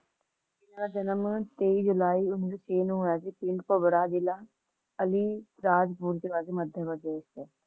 ਇਹਨਾਂ ਦਾ ਜਨਮ Two Three ਜੁਲਾਈ One Nine Zero Six ਨੂੰ ਹੋਇਆ ਸੀ ਸਿੰਘ ਭਵਰਾ ਜਿਲਾ, ਅਲੀ ਰਾਜਪੁਰ ਮੱਧ ਪ੍ਰਦੇਸ਼ ਚ